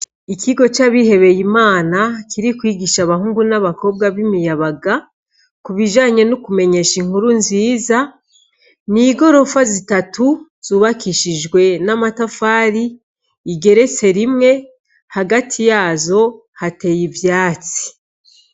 Ikigo c'abihebeye Imana kiri kwigisha abahungu n'abakobwa b'imiyabaga, ku bijanye n'ukumenyesha inkuru nziza, n'igorofa zitatu zubakishijwe n'amatafari, igeretse rimwe, hagati yazo hateye ivyatsi.